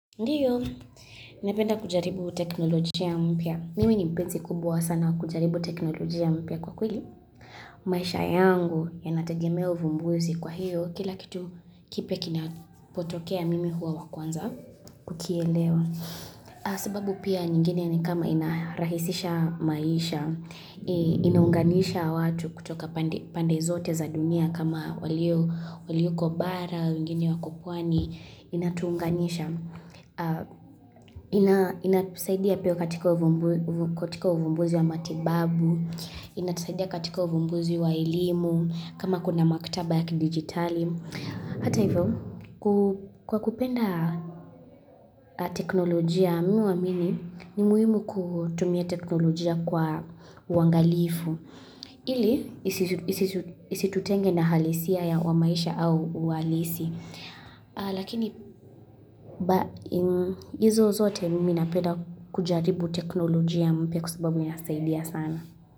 Ndiyo, napenda kujaribu teknolojia mpya. Mimi ni mpenzi kubwa sana kujaribu teknolojia mpya kwa kwili. Maisha yangu ya nategemea uvumbuzi kwa hiyo, kila kitu kipya kinapotokea mimi huwa wakuanza kukielewa. Sababu pia nyingine ni kama inarahisisha maisha, inaunganisha watu kutoka pande zote za dunia kama waliu kubara, waliu kubara, waliu kukwani, inatuunganisha. Kwa inasaidia katika uvumbuzi wa matibabu, inasaidia katika uvumbuzi wa elimu, kama kuna maktaba yaki digitali. Hata hivyo, kwa kupenda teknolojia minu wa mini, ni muhimu kutumia teknolojia kwa wangalifu. Ili, isi tutenge na halisia ya wa maisha au walisi. Lakini izo zote minapeda kujaribu teknolojia mpeku sababu mi nasaidia sana.